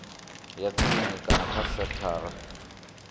ya tsini kana kha senthara